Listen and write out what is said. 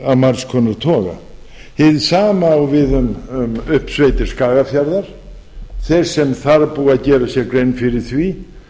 af margs konar toga hið sama á við uppsveitir skagafjarðar þeir sem þar búa gera sér grein fyrir því